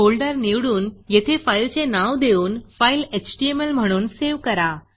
folder निवडून येथे फाईलचे नाव देऊन फाईल एचटीएमएल म्हणून सेव्ह करा